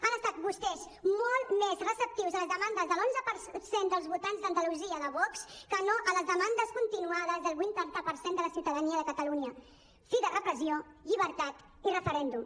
han estat vostès molt més receptius a les demandes de l’onze per cent dels votants d’andalusia de vox que no a les demandes continuades del vuitanta per cent de la ciutadania de catalunya fi de repressió llibertat i referèndum